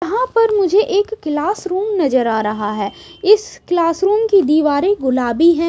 यहां पर मुझे एक क्लास रूम नजर आ रहा है इस क्लास रूम की दीवारें गुलाबी है।